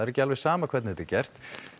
ekki alveg sama hvernig þetta er gert